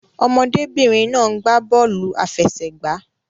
Ọmọdé-bìnrin náà ń gbà bọ́ọ̀lù àfẹsẹ̀gbá.